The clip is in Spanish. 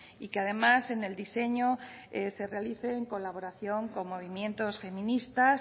y que además en el diseño se realice en colaboración con movimientos feministas